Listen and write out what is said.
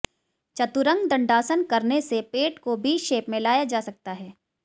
चतुरंग दंडासन करने से पेट को बी शेप में लाया जा सकता है